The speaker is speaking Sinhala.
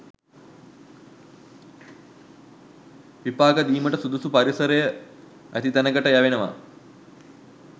විපාක දීමට සුදුසු පරිසරය ඇති තැනකට යැවෙනවා